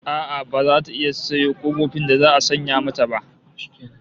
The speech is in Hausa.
A'a baza ta iya sayo kofofin da za'a sanya mata ba